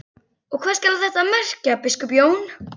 Og hvað skal þetta merkja, biskup Jón?